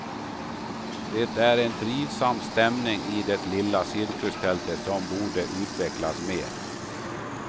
Det är en trivsam stämning i det lilla cirkustältet som borde utvecklas mer.